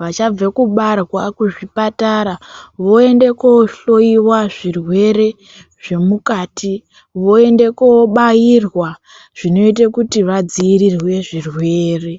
vachabve kubarwa kuzvipatara. Voende kohloyiwa zvirwere zvemukati, voende kobairwa zvinoite kuti vadziirirwe zvirwere.